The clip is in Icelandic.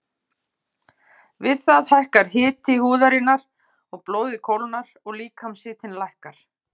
Við það hækkar hiti húðarinnar og blóðið kólnar og líkamshitinn lækkar.